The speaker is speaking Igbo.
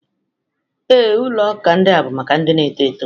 Ee, Ulo uka ndia bụ maka ndị na-eto eto